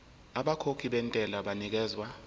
abakhokhi bentela banikezwa